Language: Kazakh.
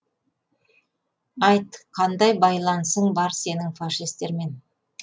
айт қандай байланысың бар сенің фашистермен